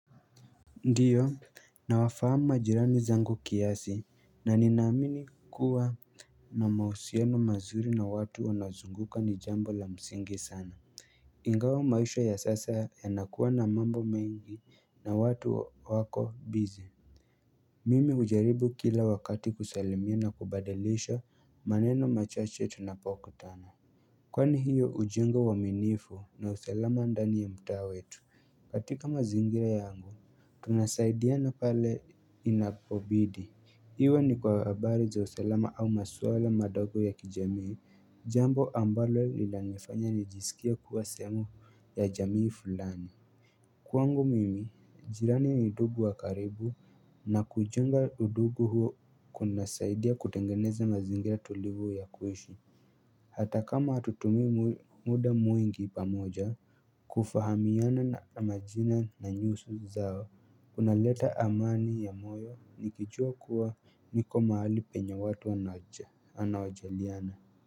Ndiyo na wafahamu majirani zangu kiasi na ninaamini kuwa na mahusiano mazuri na watu wanazunguka ni jambo la msingi sana ingawa maisha ya sasa ya nakuwa na mambo mengi na watu wako busy mimi hujaribu kila wakati kusalimia na kubadilisha maneno machache tunapoku tana kwani hiyo hujenga uaminifu na usalama ndani ya mtaa wetu katika mazingira yangu Tunasaidiana pale inapobidi Iwe ni kwa habari za usalama au maswala madogo ya kijamii Jambo ambalo lina nifanya nijisikie kuwa sehemu ya jamii fulani Kwangu mimi, jirani ni dugu wa karibu na kuichunga udugu huo kunasaidia kutengeneza mazingira tulivu ya kuishi Hata kama hatutumii muda mwingi pamoja kufahamiana na majina na nyuso zao Kuna leta amani ya moyo nikijua kuwa niko mahali penye watu anawajaliana.